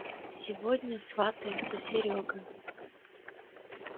сегодня сватается серёга